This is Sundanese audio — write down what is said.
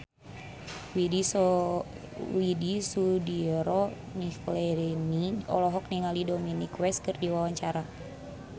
Widy Soediro Nichlany olohok ningali Dominic West keur diwawancara